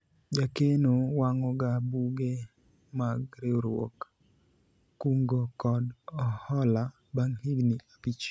jakeno wang'o ga buge mag riwruog kungo kod hola bang' higni abich